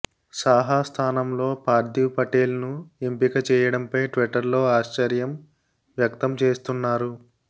సాహా స్ధానంలో పార్దీవ్ పటేల్ను ఎంపిక చేయడంపై ట్విట్టర్లో ఆశ్చర్యం వ్యక్తం చేస్తున్నారు